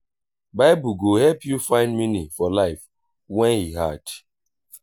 bible go help yu find meaning for life wen e hard.